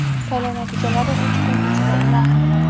Saylov natijalari uch kun ichida e’lon qilinadi.